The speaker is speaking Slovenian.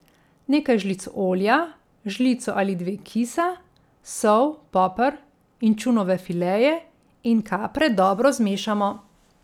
Nekaj žlic olja, žlico ali dve kisa, sol, poper, inčunove fileje in kapre dobro zmešamo.